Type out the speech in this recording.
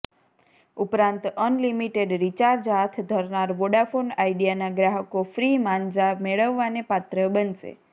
ઉપરાંત unlimited recharge હાથ ધરનાર વોડાફોન આઇડિયાનાં ગ્રાહકો ફ્રી માંઝા મેળવવાને પાત્ર બનશે